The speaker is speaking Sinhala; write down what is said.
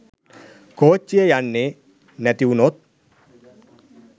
කෝච්චිය යන්නේ නැතිවුණොත්